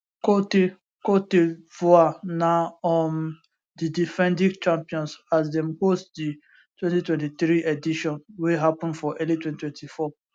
cote cote divoire na um di defending champions as dem host di 2023 edition wey happun for early 2024